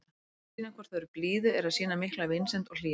Að sýna hvort öðru blíðu er að sýna mikla vinsemd og hlýju.